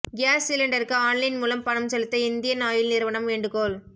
gas சிலிண்டருக்கு online மூலம் பணம் செலுத்த இந்தியன் ஆயில் நிறுவனம் வேண்டுகோள்